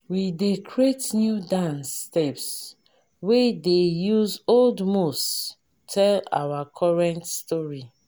we dey create new dance steps wey dey use old moves tell our current story.